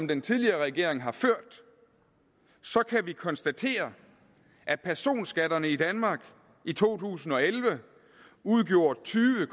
den tidligere regering har ført kan vi konstatere at personskatterne i danmark i to tusind og elleve udgjorde tyve